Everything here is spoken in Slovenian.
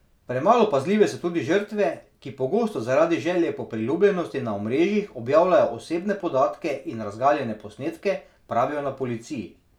Premalo pazljive so tudi žrtve, ki pogosto zaradi želje po priljubljenosti na omrežjih objavljajo osebne podatke in razgaljene posnetke, pravijo na policiji.